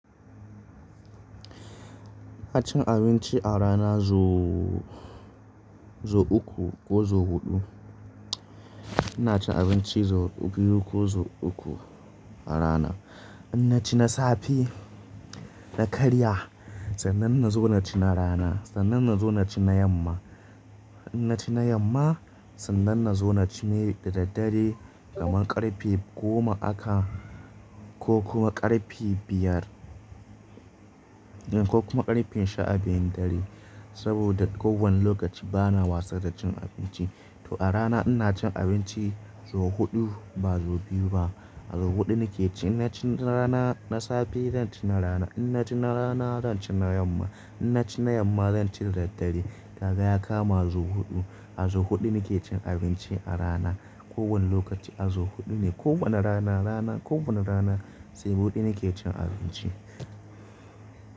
Ina cin abinci a rana sau uku, ko sau huɗu. Ina cin abinci sau biyu ko sau uku a rana. Inna ci na safe, na karya, sannan na zo na ci na rana, sannan na zo na ci na yamma. Inna ci na yamma, sannan na zo na ci da daddare kamar ƙarfe goma aka ko kuma ƙarfe biyar ko kuma ƙarfe sha biyun dare. Saboda kowane lokaci bana wasa da cin abinci. To a rana ina cin abinci sau huɗu, ba sau biyu ba. A zo huɗu nake ci. Inna ci na rana, na safe zan ci na rana. Inna ci na rana zan ci na yamma. Inna ci na yamma zan ci da daddare. Kaga ya kama sau huɗu. A zo huɗu nake cin abinci a rana. Ko wane lokaci a zo huɗu ne. Ko wane rana, rana, ko wane rana sai huɗu nake cin abinci.